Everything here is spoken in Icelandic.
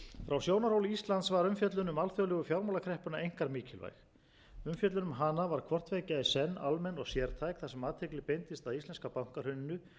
frá sjónarhóli íslands var umfjöllun um alþjóðlegu fjármálakreppuna einkar mikilvæg umfjöllun um hana var hvort tveggja í senn almenn og sértæk þar sem athygli beindist að íslenska bankahruninu og yfirstandandi